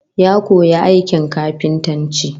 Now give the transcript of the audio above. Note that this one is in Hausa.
Ya koyi aikin kafintanci